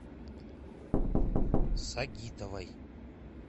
сагитовой